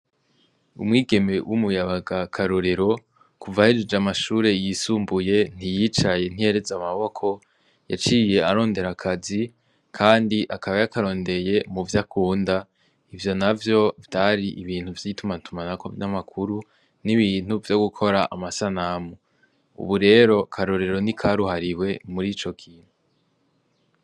Umwigeme w'umuyabaga karorero kuvahejeje amashure yisumbuye ntiyicaye ntereze amaboko yaciriye arondera akazi, kandi akaba yakarondeye mu vyo akunda ivyo na vyo vyari ibintu vyitumatuma na ku vy'amakuru n'ibintu vyo gukora amasanamu ubu rero karorero ni karuhariwe muri ico kintu.